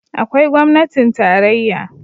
Akwai gwamnatin tarayya